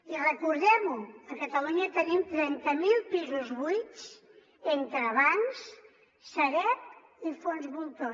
i recordem ho a catalunya tenim trenta mil pisos buits entre bancs sareb i fons voltor